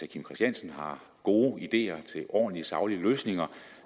kim christiansen har gode ideer til ordentlige og saglige løsninger